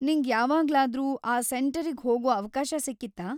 ನಿಂಗ್ ಯಾವಾಗ್ಲಾದ್ರೂ ಆ ಸೆಂಟರಿಗ್ ಹೋಗೋ ಅವ್ಕಾಶ ಸಿಕ್ಕಿತ್ತಾ?